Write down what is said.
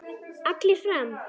Allir fram!